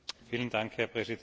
Herr Präsident!